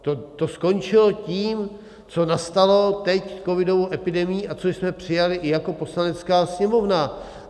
To skončilo tím, co nastalo teď covidovou epidemií a co jsme přijali i jako Poslanecká sněmovna.